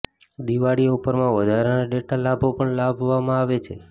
Diwali offer માં વધારાના data લાભો પણ લાવવામાં આવે છે